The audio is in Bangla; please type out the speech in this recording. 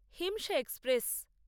হিমশা এক্সপ্রেস